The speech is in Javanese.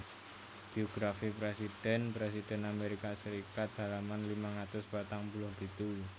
Biografi presiden presiden Amerika Serikat halaman limang atus patang puluh pitu